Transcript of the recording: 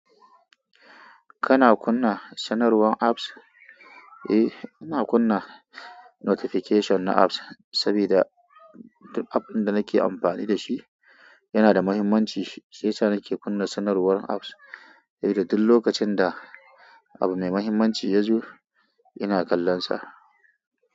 Kana kunna sanarwar apps? Eh, ina kunna notification na apps saboda duk app ɗin da nake amfani da shi yana da mahimmanci, shiyasa nake kunna sanarwar apps, saboda duk lokacin da abu mai mahimmanci ya zo, ina kallonsa.